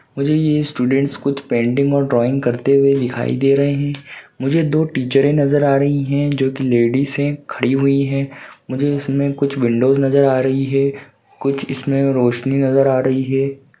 मुझे ये स्टूडेंट्स कुछ पेंटिंग और ड्राइंग करते हुए दिखाई दे रहे हैं मुझे दो टीचरें नजर आ रही हैं जो की लेडीज हैं खड़ी हुई हैं मुझे इसमें कुछ विंडोस नजर आ रही है कुछ इसमें रौशनी नजर आ रही है।